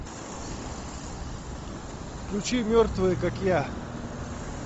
включи мертвые как я